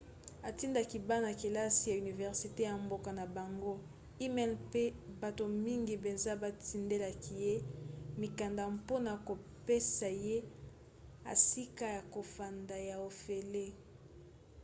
atindaki bana-kelasi ya universite ya mboka na bango e-mail mpe bato mingi mpenza batindelaki ye mikanda mpona kopesa ye esika ya kofanda ya ofele